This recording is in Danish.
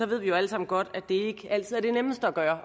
ved vi jo alle sammen godt at det altid er det nemmeste at gøre